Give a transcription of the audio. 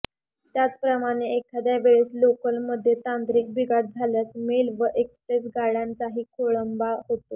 त्याचप्रमाणे एखाद्या वेळेस लोकलमध्ये तांत्रिक बिघाड झाल्यास मेल व एक्स्प्रेस गाडयांचाही खोळंबा होतो